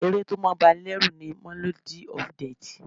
Ẹ̀ré tí o máà ń bá ní lẹ́rù ni "Melody of death"